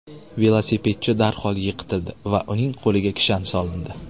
Velosipedchi darhol yiqitildi va uning qo‘liga kishan solindi.